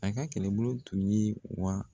A ka kɛlɛbolo tun ye wa